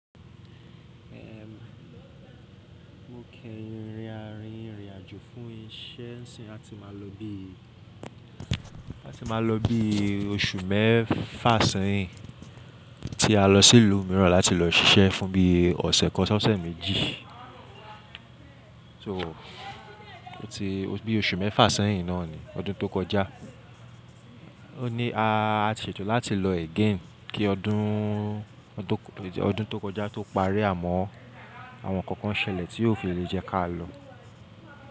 Ehn, mo kẹyin rin ìrìn àjò fún isẹ n sìn a ti ma lọ bi, a ti ma lọ bi oṣù mẹfa sẹyin, ti a lọ sí ìlú míràn láti lọ ṣiṣẹ́ fún bi ọ̀sẹ̀ kan ṣọ́sẹ̀ méjì. So lati bi oṣù mẹfa sẹyin náà ni ọdún tó kọjá. O ní a ṣètò láti lọ again kí ọdún tó kọjá tó parí àmọ́ àwọn ǹkan kan ṣẹlẹ̀ tí ò fi lè jẹ́ ká lọ.